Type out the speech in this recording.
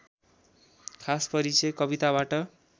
खास परिचय कविताबाट